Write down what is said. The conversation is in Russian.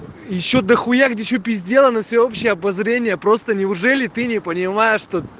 ещё дохуя где что пиздела на всеобщее обозрение просто неужели ты не понимаешь что